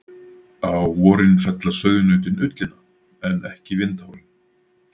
Á vorin fella sauðnautin ullina en ekki vindhárin.